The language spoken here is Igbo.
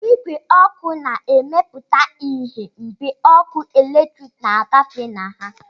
Igwe ọkụ na-emepụta ìhè mgbe ọkụ eletrik na-agafe na ha